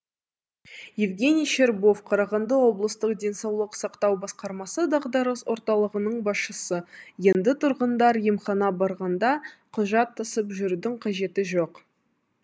евгений щербов қарағанды облыстық денсаулық сақтау басқармасы дағдарыс орталығының басшысы енді тұрғындар емханаға барғанда құжат тасып жүрудің қажеті жоқ